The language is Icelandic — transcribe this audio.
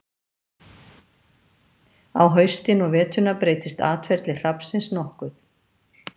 Á haustin og veturna breytist atferli hrafnsins nokkuð.